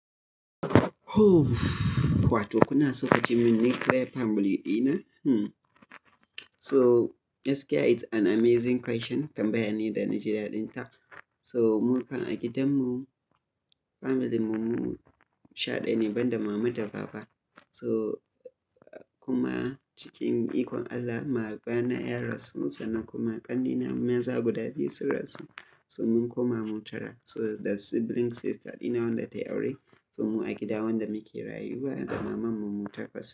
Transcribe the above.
Wato kuna so a ji mun nuclear family dina? So gaskiya it's an amazing question. Tambaya ne da na ji daɗin ta. So mu kan a gidanmu familyn mu, mu sha ɗayane ban da mama da baba. So kuma cikin ikon Allah babana ya rasu sannan kuma ƙannena maza guda biyu sun rasu. So mun koma mu tara. So the sibling sister dina wanda tai aure, so mu a gida wanda muke rayuwa da mamanmu mu takwas.